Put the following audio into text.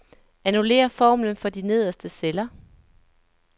Annullér formlen for de nederste celler.